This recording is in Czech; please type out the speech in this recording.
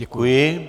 Děkuji.